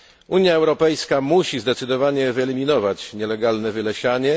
Unia Europejska musi zdecydowanie wyeliminować nielegalne wylesianie.